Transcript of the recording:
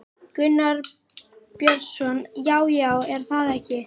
Gunnar Björnsson: Já, já, er það ekki?